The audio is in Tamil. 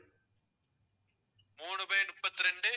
மூணு by முப்பத்தி ரெண்டு